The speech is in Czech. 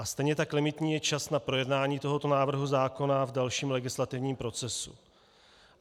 A stejně tak limitní je čas na projednání tohoto návrhu zákona v dalším legislativním procesu.